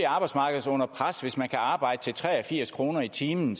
arbejdsmarkedet under pres hvis man kan arbejde til tre og firs kroner i timen